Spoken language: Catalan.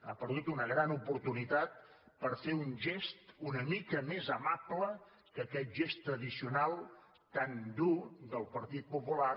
ha perdut una gran oportunitat per fer un gest una mica més amable que aquest gest tradicional tan dur del partit popular